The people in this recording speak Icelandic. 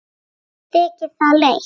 Mér þykir það leitt.